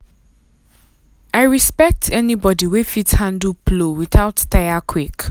i respect anybody wey fit handle plow without tire quick.